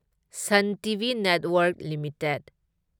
sun TV network limited